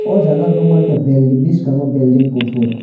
oh jaga ang nukmankha building biskango building kuphur.